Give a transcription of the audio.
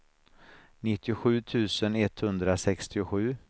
nittiosju tusen etthundrasextiosju